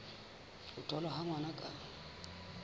ho tholwa ha ngwana ka